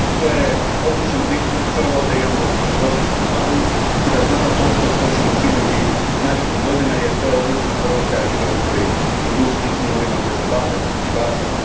Prvo, odličan je pristup da imamo višegodišnji plan i da znamo točno što ćemo činiti narednih godina jer to je odlična poruka ribarskoj industriji i svim onima koji se bave ribarstvom.